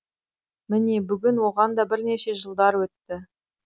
міне бүгін оған да бірнеше жылдар өтті